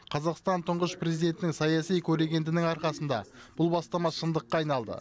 қазақстан тұңғыш президентінің саяси көрегендінің арқасында бұл бастама шындыққа айналды